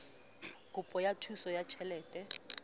kopo ya thuso ya tjhelete